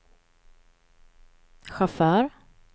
chaufför